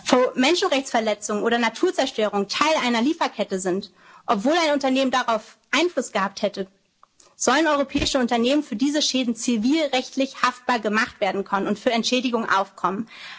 Wäldern leben. Wo Menschenrechtsverletzungen oder Naturzerstörung Teil einer Lieferkette sind, obwohl ein Unternehmen darauf Einfluss gehabt hätte, sollen europäische Unternehmen für diese Schäden zivilrechtlich haftbar gemacht werden können und für Entschädigung